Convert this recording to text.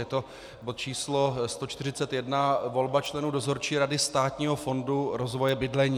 Je to bod číslo 141 - volba členů Dozorčí rady Státního fondu rozvoje bydlení.